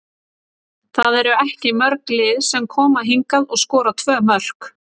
Það eru ekki mörg lið sem koma hingað og skora tvö mörk.